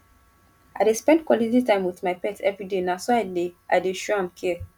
i dey spend quality time wit my pet everyday na so i dey i dey show am care